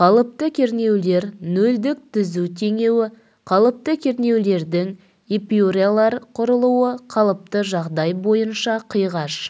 қалыпты кернеулер нөлдік түзу теңеуі қалыпты кернеулердің эпюралар құрылуы қалыпты жағдай бойынша қиғаш